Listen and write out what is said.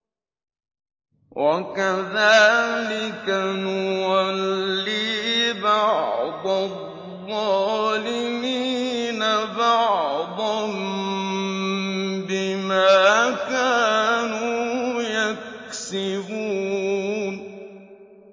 وَكَذَٰلِكَ نُوَلِّي بَعْضَ الظَّالِمِينَ بَعْضًا بِمَا كَانُوا يَكْسِبُونَ